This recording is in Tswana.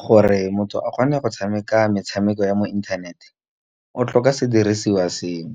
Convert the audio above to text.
Gore motho a kgone go tshameka metshameko ya mo inthaneteng, o tlhoka sediriswa seo